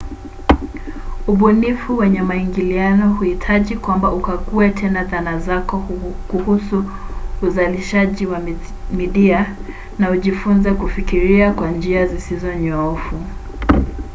ubunifu wenye maingiliano huhitaji kwamba ukague tena dhana zako kuhusu uzalishaji wa midia na ujifunze kufikiria kwa njia zisizo nyoofu